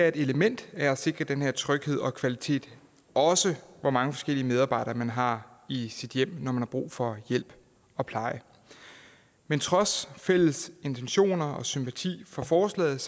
et element af at sikre den her tryghed og kvalitet også hvor mange forskellige medarbejdere man har i sit hjem når man har brug for hjælp og pleje men trods fælles intentioner og sympati for forslaget